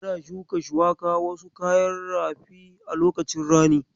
Ana shuka wasu kayan rafin a lokacin rani.